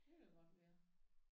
Det kan da godt være